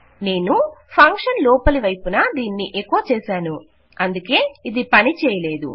నేను ఫంక్షన్ లోపలివైపున దీన్ని ఎకొ చేసాను అందుకే ఇది పని చేయలేదు